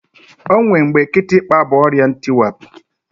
O nwe mgbe kịtịkpa bụ ọrịa ntịwapụ